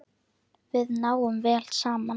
Við náum vel saman.